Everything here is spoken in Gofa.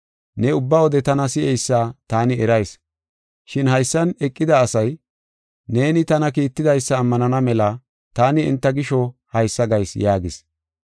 Ne ubba wode tana si7eysa taani erayis. Shin haysan eqida asay neeni tana kiittidaysa ammanana mela taani enta gisho haysa gayis” yaagis.